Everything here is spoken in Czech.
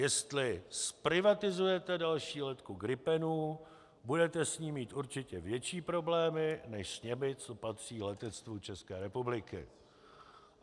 Jestli zprivatizujete další letku gripenů, budete s ní mít určitě větší problémy než s těmi, co patří letectvu České republiky!